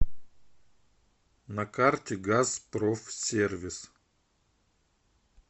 на карте газпрофсервис